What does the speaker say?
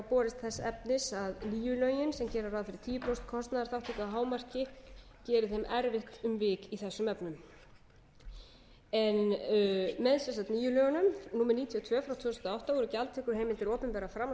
borist þess efnis að nýju lögin sem gera ráð fyrir tíu prósent kostnaðarþátttöku að hámarki geri þeim erfitt um vik í þessum efnum með nýju lögunum númer níutíu og sjö tvö þúsund og átta voru gjaldtökuheimildir opinberra framhaldsskóla